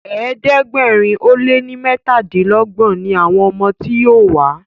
ẹ̀ẹ́dẹ̀gbẹ̀rin o lẹ ní metadinlogbon ní àwọn ọmọ tí yóò wá..